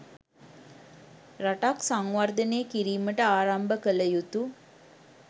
රටක් සංවර්ධනය කිරීමට ආරම්භ කළයුතු